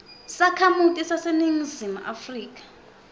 sakhamuti saseningizimu afrika